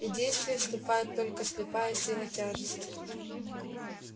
и действие вступает только слепая сила тяжести